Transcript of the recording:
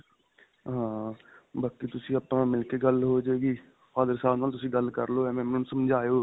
ਹਾਂ ਬਾਕੀ ਤੁਸੀਂ ਆਪਾਂ ਮਿਲ ਕੇ ਗੱਲ ਹੋਜੇਗੀ father ਸਾਬ ਨਾਲ ਤੁਸੀਂ ਗੱਲ ਕਰਲੋ ਏਵ੍ਵੇਂ ਉਨ੍ਹਾਂ ਨੂੰ ਸਮਝਾਓ